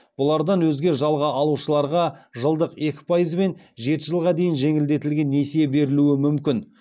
бұлардан өзге жалға алушыларға жылдық екі пайызбен жеті жылға дейін жеңілдетілген несие берілуі мүмкін